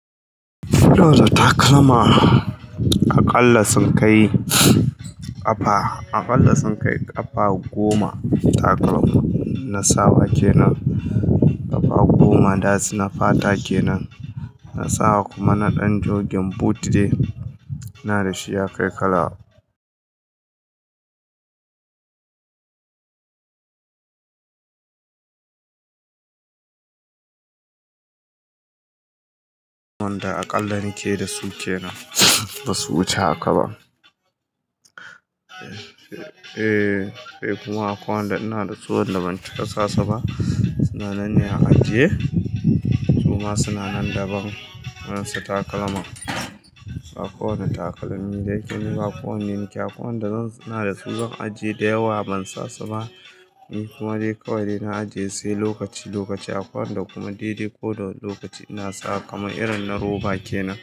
To da takalma, aƙalla sun kai ƙafa, aƙalla sun kai ƙafa goma takalma na sawa kenan. Ƙafa goma das na fata kenan na sawa kuma na ɗan jogin boot dai, ina da shi ya kai kala. Wanda aƙalla nake da su kenan, ba su wuce haka ba. Eh, sai kuma akwai wanda ina da su wanda ban ci ka sasu ba, suna nan ne a ajiye. Kuma suna nan daban, irin su takalma. Ba kowane takalmi da yake ni ba, kowanne nake, akwai wanda zan suna da su don ajiye da yawa ban sasu ba. Ni kuma dai kawai dai na ajiye sai lokaci-lokaci, akwai wanda kuma dai-dai ko da wane lokaci ina sawa kamar irin na roba kenan.